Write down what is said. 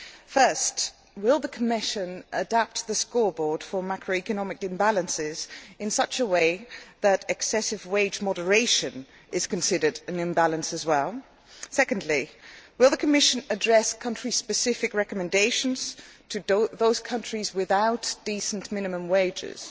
Firstly, will the Commission adapt the scoreboard for macroeconomic imbalances in such a way that excessive wage moderation is considered an imbalance as well? Secondly, will the Commission address country specific recommendations to those countries without decent minimum wages?